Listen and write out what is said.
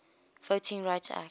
voting rights act